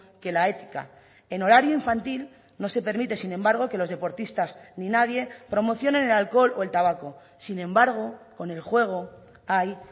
que la ética en horario infantil no se permite sin embargo que los deportistas ni nadie promocionen el alcohol o el tabaco sin embargo con el juego hay